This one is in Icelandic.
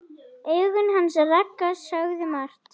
Augun hans Ragga sögðu margt.